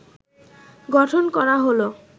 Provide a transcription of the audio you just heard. গঠন করা হল